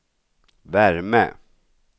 värme